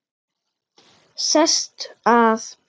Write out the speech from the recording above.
Sest að.